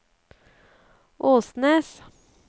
Åsnes